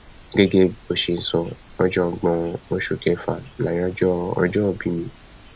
gẹgẹ bó ṣe sọ ọgbọnjọ oṣù kẹfà láyájọ ọjọòbí mi